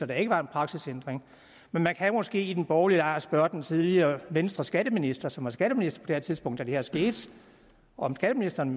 der ikke var en praksisændring men man kan måske i den borgerlige lejr spørge den tidligere venstreskatteminister som var skatteminister på det tidspunkt da det her skete om skatteministeren